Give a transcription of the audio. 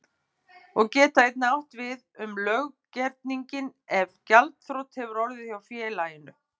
geta einnig átt við um löggerninginn ef gjaldþrot hefur orðið hjá félaginu.